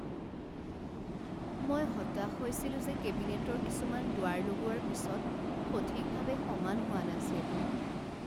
মই হতাশ হৈছিলো যে কেবিনেটৰ কিছুমান দুৱাৰ লগোৱাৰ পিছত সঠিকভাৱে সমান হোৱা নাছিল।